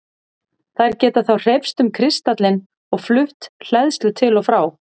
Þær geta þá hreyfst um kristallinn og flutt hleðslu til og frá.